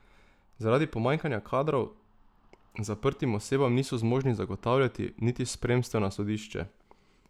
Zaradi pomanjkanja kadrov zaprtim osebam niso zmožni zagotavljati niti spremstev na sodišče.